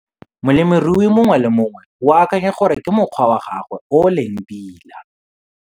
Molemirui mongwe le mongwe o akanya gore ke mokgwa wa gagwe o o leng pila.